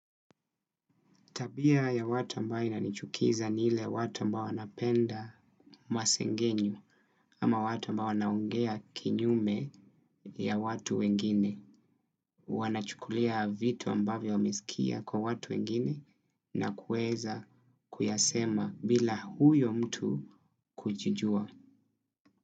Tabia ya watu ambaye inanichukiza ni ile watu ambao wanapenda masengenyo ama watu ambao wanaongea kinyume ya watu wengine. Wanachukulia vitu ambavyo wamesikia kwa watu wengine na kuweza kuyasema bila huyo mtu kujijua.